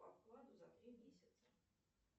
по вкладу за три месяца